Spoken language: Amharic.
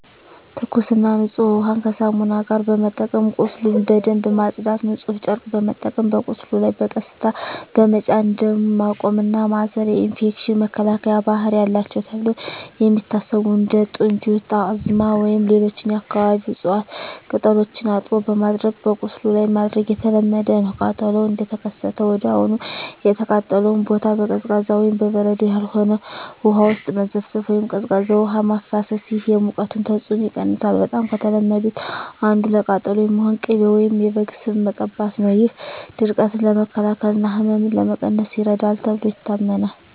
ትኩስና ንጹህ ውሃን ከሳሙና ጋር በመጠቀም ቁስሉን በደንብ ማጽዳት። ንጹህ ጨርቅ በመጠቀም በቁስሉ ላይ በቀስታ በመጫን ደም ማቆም እና ማሰር። የኢንፌክሽን መከላከያ ባህሪ አላቸው ተብለው የሚታሰቡ እንደ ጥንጁት፣ ጣዝማ ወይም ሌሎች የአካባቢው እፅዋት ቅጠሎችን አጥቦ በማድቀቅ በቁስሉ ላይ ማድረግ የተለመደ ነው። ቃጠሎው እንደተከሰተ ወዲያውኑ የተቃጠለውን ቦታ በቀዝቃዛ (በበረዶ ያልሆነ) ውሃ ውስጥ መዘፍዘፍ ወይም ቀዝቃዛ ውሃ ማፍሰስ። ይህ የሙቀቱን ተጽዕኖ ይቀንሳል። በጣም ከተለመዱት አንዱ ለቃጠሎ የሚሆን ቅቤ ወይም የበግ ስብ መቀባት ነው። ይህ ድርቀትን ለመከላከል እና ህመምን ለመቀነስ ይረዳል ተብሎ ይታመናል።